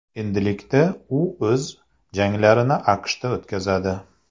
Endilikda u o‘z janglarini AQShda o‘tkazadi.